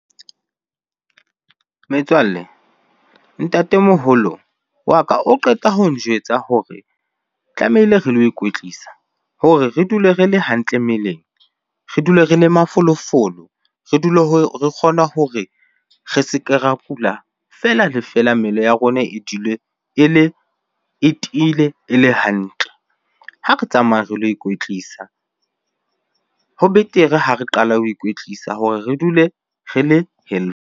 Metswalle, ntatemoholo wa ka o qeta ho njwetsa hore tlamehile re lo ikwetlisa hore re dule re le hantle mmeleng, re dule re le mafolofolo, re dule re kgona hore re se ke ra kula fela le fela. Mmele ya rona e dule e le, e tiile, e le hantle. Ha re tsamaye re lo ikwetlisa. Ho betere ha re qala ho ikwetlisa hore re dule re le healthy.